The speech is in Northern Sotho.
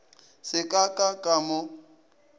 se ka ka ka mo